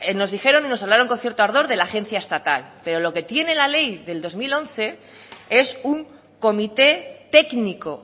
nos dijeron y nos hablaron con cierto ardor de la agencia estatal pero lo que tiene la ley del dos mil once es un comité técnico